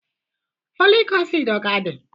Folic acid ọ ka dị?